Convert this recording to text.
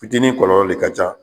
Fitiniinin kɔlɔlɔ de ka ca.